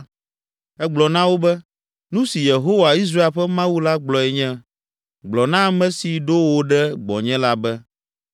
Egblɔ na wo be, “Nu si Yehowa, Israel ƒe Mawu la gblɔe nye, Gblɔ na ame si ɖo wò ɖe gbɔnye la be,